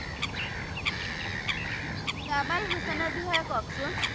কমল হুছেইনৰ বিষয়ে কওকচোন।